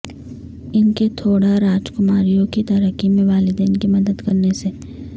ان کے تھوڑا راجکماریوں کی ترقی میں والدین کی مدد کرنے سے